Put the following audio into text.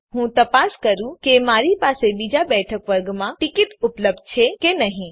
તો ચાલો હું તપાસ કરું કે મારી પાસે બીજા બૈઠક વર્ગમાં ટીકીટ ઉપલબ્ધ છે કે નહી